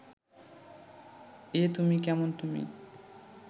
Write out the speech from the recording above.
এ তুমি কেমন তুমি